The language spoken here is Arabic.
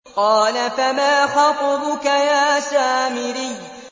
قَالَ فَمَا خَطْبُكَ يَا سَامِرِيُّ